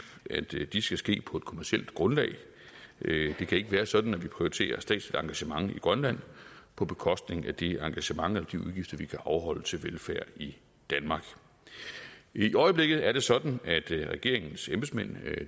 at de skal ske på et kommercielt grundlag det kan ikke være sådan at vi prioriterer et statsligt engagement i grønland på bekostning af det engagement eller de udgifter vi kan afholde til velfærd i danmark i øjeblikket er det sådan at regeringens embedsmænd